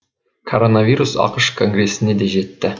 коронавирус ақш конгресіне де жетті